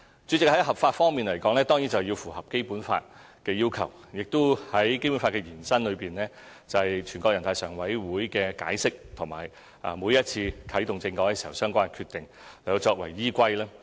主席，就合法方面，當然要符合《基本法》的要求，以及在《基本法》延伸方面，全國人大常委會的解釋和每一次啟動政改時的相關決定作為依歸。